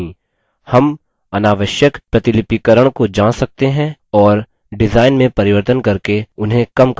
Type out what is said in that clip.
हम अनावश्यक प्रतिलिपिकरण को जांच सकते हैं और डिजाइन में परिवर्तन करके उन्हें कम कर सकते हैं